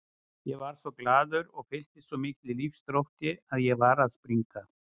Ég varð svo glaður og fylltist svo miklum lífsþrótti að ég var að springa.